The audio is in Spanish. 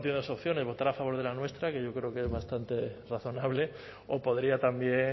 tienes dos opciones votar a favor de la nuestra que yo creo que es bastante razonable o podría también